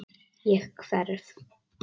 Ég hverf.